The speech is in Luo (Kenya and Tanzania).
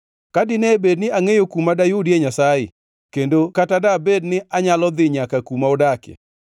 Ka dine bed ni angʼeyo kuma dayudie Nyasaye; kendo kata dabed ni anyalo dhi nyaka kuma odakie;